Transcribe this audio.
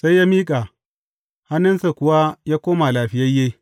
Sai ya miƙa, hannunsa kuwa ya koma lafiyayye.